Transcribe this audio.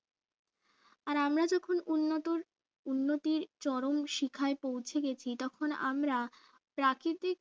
আর আমরা যখন উন্নত উন্নতির চরম শিখায় পৌঁছে গেছি তখন আমরা প্রাকৃতিক